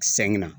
Sɛŋɛ na